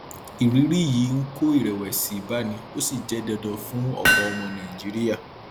irírí yìí ń kó ìrèwèsì báni ó sì jẹ dandan fún ọpọ ọmọ nàìjíríà